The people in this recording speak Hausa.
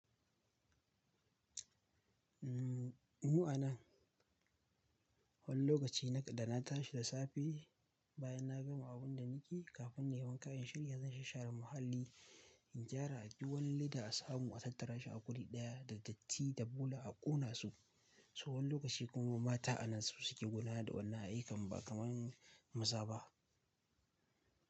Umm, mu a nan. Wani lokaci da na tashi da safe, bayan na gama abun da nake yi, kafin na yi wanka in shirya zan sha-share muhalli. In gyara, aibi wani leda asamu a tattara shi a guri ɗaya da datti da bola a ƙona su. So wani lokaci kuma mata a nan su suke gudnar da wannan ayyukan, ba kamar maza ba.